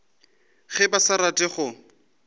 ge ba sa rate go